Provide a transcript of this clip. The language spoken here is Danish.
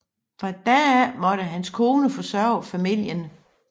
Fra da af måtte hans kone forsørge familien